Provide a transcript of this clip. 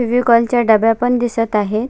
फेविकॉल च्या डब्या पण दिसत आहे.